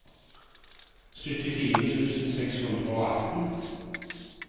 syttifire tusen seks hundre og atten